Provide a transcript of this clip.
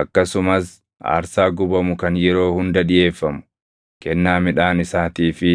Akkasumas aarsaa gubamu kan yeroo hunda dhiʼeeffamu, kennaa midhaan isaatii fi